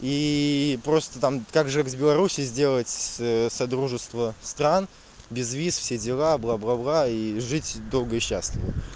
и просто там как же в беларуси сделать содружества стран без виз все дела бла-бла-бла и жить долго и счастливо